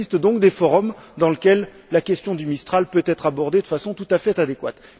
Il existe donc des forums dans lesquels la question du Mistral peut être abordée de façon tout à fait adéquate.